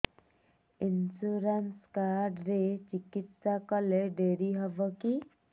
insurance card ରେ ଚିକିତ୍ସା କଲେ ଡେରି ହବକି